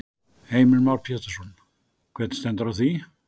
Heimir Már Pétursson: Hvernig stendur á því?